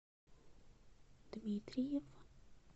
дмитриев